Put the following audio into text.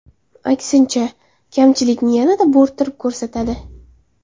Aksincha, kamchilikni yanada bo‘rttirib ko‘rsatadi.